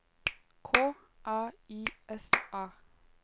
K A I S A